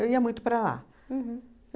Eu ia muito para lá. Uhum.